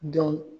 Dɔn